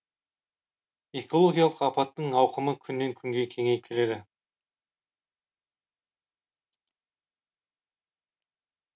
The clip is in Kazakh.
экологиялық апаттың ауқымы күннен күнге кеңейіп келеді